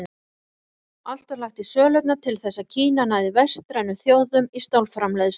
Allt var lagt í sölurnar til þess að Kína næði vestrænum þjóðum í stálframleiðslu.